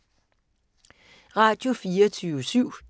Radio24syv